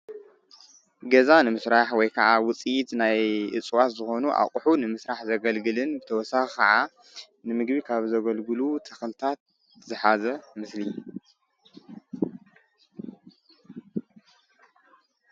ገዛ ንምስራሕ ወይ ከዓ ዉፅኢት ናይ እፅዋት ዝኾኑ ኣቁሑ ንምስራሕ ዘገልግልን ብተወሳኺ ክዓ ንምግቢ ካብ ዘገልግሉ ተኽልታት ዝሓዘ ምስሊ እዩ።